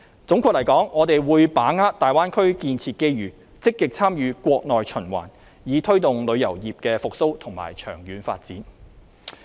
總括而言，我們會把握大灣區建設機遇，積極參與國內循環，以推動旅遊業的復蘇和長遠發展。